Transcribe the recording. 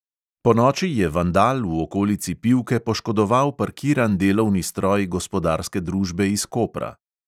Ponoči je vandal v okolici pivke poškodoval parkiran delovni stroj gospodarske družbe iz kopra.